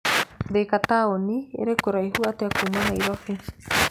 Thika taũni ĩrĩ kũraihu atĩa kuuma Nairobi?